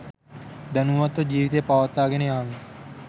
දැනුවත්ව ජීවිතය පවත්වා ගෙන යාම